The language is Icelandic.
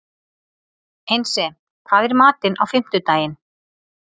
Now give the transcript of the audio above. Einsi, hvað er í matinn á fimmtudaginn?